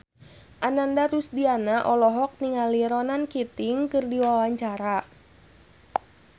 Ananda Rusdiana olohok ningali Ronan Keating keur diwawancara